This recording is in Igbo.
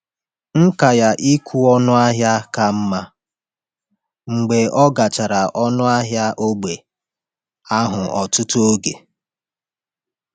Nkà ya n’ịkwụ ọnụ ahịa ka mma mgbe ọ gachara ụlọ ahịa ógbè ahụ ọtụtụ oge.